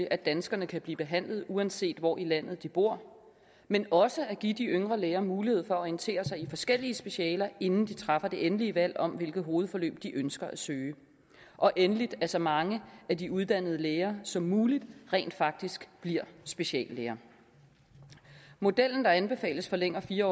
at danskerne kan blive behandlet uanset hvor i landet de bor men også at give de yngre læger mulighed for at orientere sig i forskellige specialer inden de træffer det endelige valg om hvilket hovedforløb de ønsker at søge og endelig at så mange af de uddannede læger som muligt rent faktisk bliver speciallæger modellen der anbefales forlænger fire